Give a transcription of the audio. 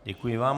Děkuji vám.